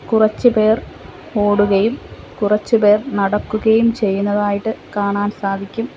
കുറച്ചു പേർ ഓടുകയും കുറച്ചു പേർ നടക്കുകയും ചെയ്യുന്നതായിട്ട് കാണാൻ സാധിക്കും.